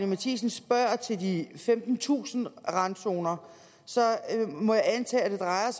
matthiesen spørger til de femtentusind randzoner må jeg antage at det drejer